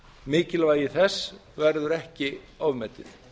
mikilvægi þess verður ekki ofmetið